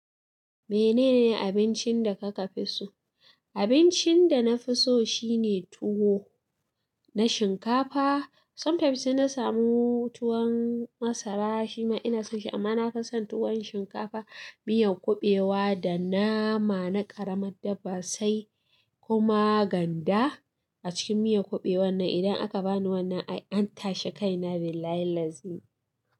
Menene abincin da kuka fi so? Abincin da na fi so shine tuwo na shinkafa. Sometimes na samu tuwon masara, shi ma ina son shi amma na fi son tuwon shinkafa, miyan kuɓewa da nama na ƙaramin dabba sai kuma ganda a cikin miyan kuɓewan nan. Idan aka bani wannan ai an tashi kaina, Billahillazi.